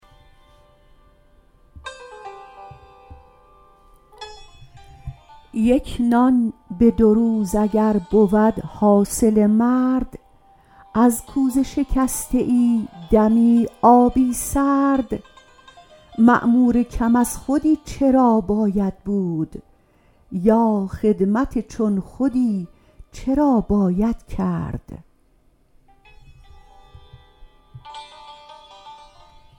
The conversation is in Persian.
یک نان به دو روز اگر بود حاصل مرد از کوزه شکسته ای دمی آبی سرد مأمور کم از خودی چرا باید بود یا خدمت چون خودی چرا باید کرد